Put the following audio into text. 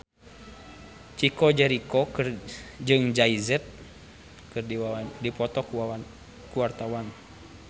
Chico Jericho jeung Jay Z keur dipoto ku wartawan